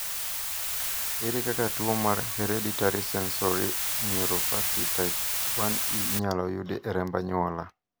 ere kaka tuo mar Hereditary sensory neuropathy type 1E inyaloyudi e remb anyuola?